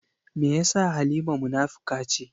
Me yasa Halima munafuka ce?